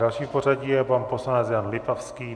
Další v pořadí je pan poslanec Jan Lipavský.